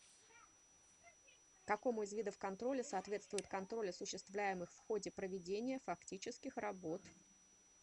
какому из видов контроля соответствует контроль осуществляемых в ходе проведения фактических работ